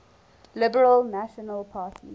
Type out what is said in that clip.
liberal national party